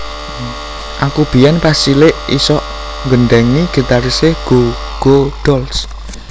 Aku biyen pas cilik isok nggendhengi gitarise Goo Goo Dolls